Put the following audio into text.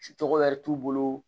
Tɔgɔ wɛrɛ t'u bolo